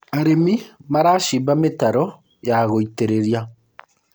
arĩmi maracimba mitaro ya gũitĩrĩria